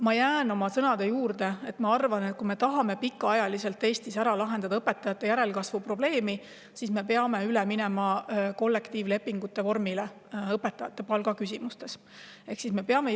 Ma jään oma sõnade juurde: ma arvan, et kui me tahame Eestis õpetajate järelkasvu probleemi lahendada pikemaks ajaks, siis me peame õpetajate palgaküsimuses üle minema kollektiivlepingu vormile.